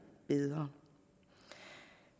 bedre